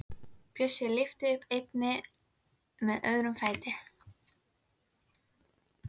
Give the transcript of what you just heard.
Bjössi lyftir upp einni með öðrum fætinum.